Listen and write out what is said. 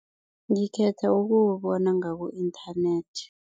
Ngikhetha ukuwubona ngaku-internet.